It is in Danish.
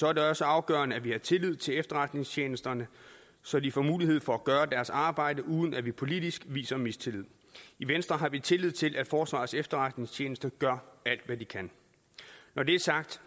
er det også afgørende at vi har tillid til efterretningstjenesterne så de får mulighed for at gøre deres arbejde uden at vi politisk viser mistillid i venstre har vi tillid til at forsvarets efterretningstjeneste gør alt hvad de kan når det er sagt